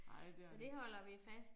Nej det er det